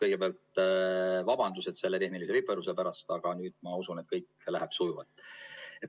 Kõigepealt vabandust selle tehnilise viperuse pärast, aga ma usun, et kõik läheb sujuvalt.